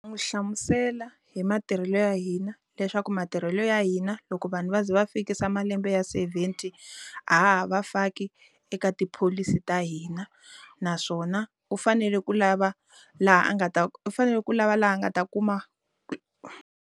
N'wi hlamusela hi matirhelo ya hina leswaku matirhelo ya hina loko vanhu va za va fikisa malembe ya seventy a ha ha va faki eka tipholisi ta hina naswona u fanele ku lava laha a nga ta u fanele ku lava laha nga ta kuma ku.